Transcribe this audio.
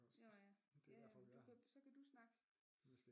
Nåh ja ja ja men du kan så kan du snakke